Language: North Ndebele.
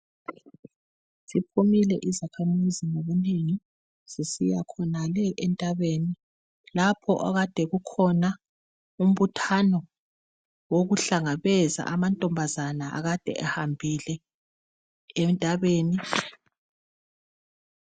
Ziphumile izakhamizi ngobunengi zisiya khonale entabeni lapho okade kukhona umbuthano wokuhlangabeza amantombazana akade ehambile entabeni.